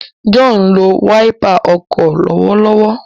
John nlò Wáípà ọkọ lọwọlọwọ.